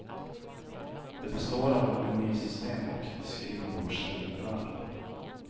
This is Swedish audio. Det består av ett menysystem och skrivbordstillbehör.